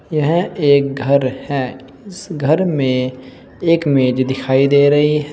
यह एक घर है इस घर में एक मेज दिखाई दे रही है।